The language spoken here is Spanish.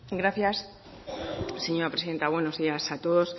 gracias señora presidenta buenos días a todos